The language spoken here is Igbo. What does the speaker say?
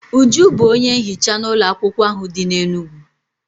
Uju bụ onye nhicha n'ụlọakwụkwọ ahụ dị n'Enugwu.